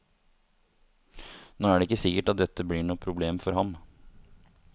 Nå er det ikke sikkert at dette blir noe problem for ham.